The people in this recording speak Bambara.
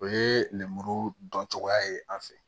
O ye lemuru dɔn cogoya ye an fɛ